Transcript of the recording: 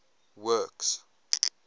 works